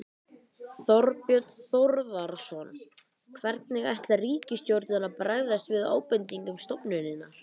Þorbjörn Þórðarson: Hvernig ætlar ríkisstjórnin að bregðast við ábendingum stofnunarinnar?